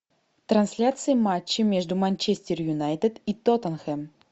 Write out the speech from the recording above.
трансляция матча между манчестер юнайтед и тоттенхэм